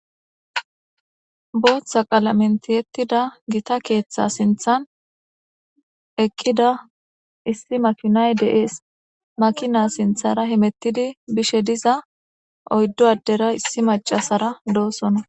Booththa qalamen tiyettida keeththa sinthan eqqida gita makinay de7ees makina sinthara diza oyddu addera issi maccasara deettes.